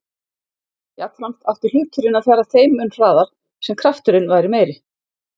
Jafnframt átti hluturinn að fara þeim mun hraðar sem kraft-urinn væri meiri.